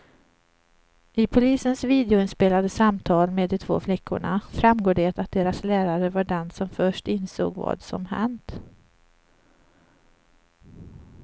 I polisens videoinspelade samtal med de två flickorna framgår det att deras lärare var den som först insåg vad som hänt.